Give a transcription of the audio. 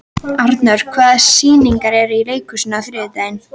Anor, hvaða sýningar eru í leikhúsinu á þriðjudaginn?